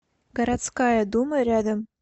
городская дума рядом